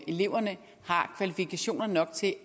eleverne har kvalifikationer nok til